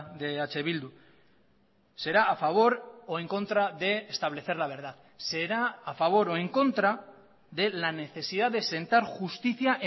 de eh bildu será a favor o en contra de establecer la verdad será a favor o en contra de la necesidad de sentar justicia